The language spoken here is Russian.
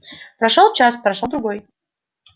прошёл час прошёл другой